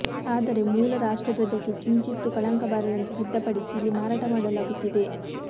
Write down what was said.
ಆದರೆ ಮೂಲ ರಾಷ್ಟ್ರಧ್ವಜಕ್ಕೆ ಕಿಂಚಿತ್ತೂ ಕಳಂಕ ಬಾರದಂತೆ ಸಿದ್ಧಪಡಿಸಿ ಇಲ್ಲಿ ಮಾರಾಟ ಮಾಡಲಾಗುತ್ತಿದೆ